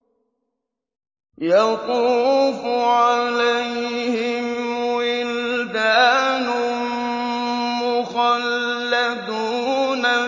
يَطُوفُ عَلَيْهِمْ وِلْدَانٌ مُّخَلَّدُونَ